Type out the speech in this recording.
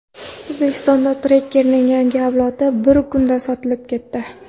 O‘zbekistonda Tracker’ning yangi avlodi bir kunda sotilib ketdi.